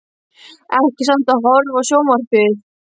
Ekki samt að horfa á sjónvarpið.